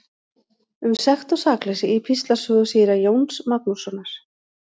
Um sekt og sakleysi í Píslarsögu síra Jóns Magnússonar.